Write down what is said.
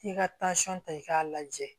K'i ka ta i k'a lajɛ